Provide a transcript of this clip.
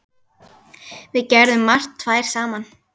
Við gerðum margt tvær saman.